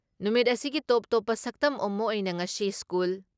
ꯅꯨꯃꯤꯠ ꯑꯁꯤꯒꯤ ꯇꯣꯞꯇꯣꯞꯄ ꯁꯛꯇꯝ ꯑꯃ ꯑꯣꯏꯅ ꯉꯁꯤ ꯁ꯭ꯀꯨꯜ